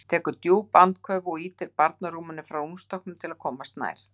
Tekur djúp andköf og ýtir barnarúminu frá rúmstokknum til þess að komast nær.